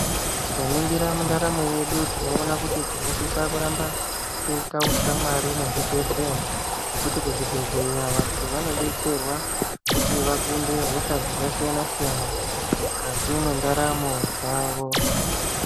Tikaningira mundaramo yedu tinoona kuti tinosisa kuramba teiita ushamwari nezvibhedhleya. Ngekuti kuzvibhedhleya vantu vanodetserwa kuti vakunde hosha dzakasiyana-siyana mukati mwendaramo dzavo.